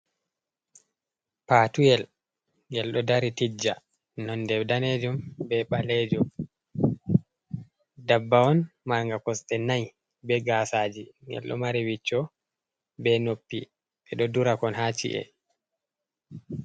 Patuyel ngel ɗo dari tijja, nonde danejum be ɓalejum. Dabba on marnga kosɗe nai, be gaasaji. Ngel ɗo mari wicco be noppi, ɓe ɗo durakon haa ci’e.